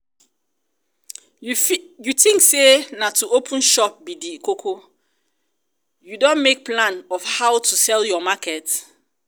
you think say na to open shop be the koko? you don make plan of how to sell your market?